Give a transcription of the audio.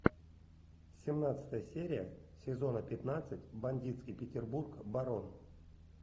семнадцатая серия сезона пятнадцать бандитский петербург барон